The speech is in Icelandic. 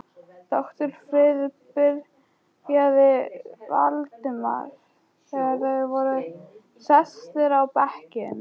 Doktor Friðrik byrjaði Valdimar, þegar þeir voru sestir á bekkinn.